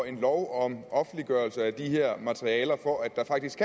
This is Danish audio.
en lov om offentliggørelse af de her materialer for at der faktisk